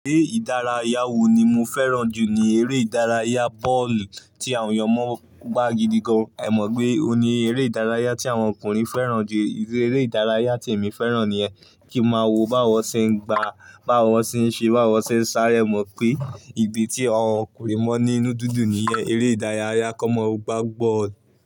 È ìdárayá wo ni mo fẹ́ràn jù ni eré ìdárayá bọ́ọ̀lù tí àwọn ọmọ gbá gidi gan. Ẹ mọ̀ pé òun ni eré ìdárayá tí àwọn ọkùnrin fẹ́ràn jù. Eré ìdárayá tí èmi fẹ́ràn ni ẹ kí máa wo báwo ṣe ń gbàá, báwo ṣe ń ṣe, báwo ṣe ń sáré. Mo mọ̀ pé ibi tí àwọn ọkùnrin mọ́ nínu dùndùn niye, eré ìdárayá kọ́mọ gbá bọ́ọ̀lù.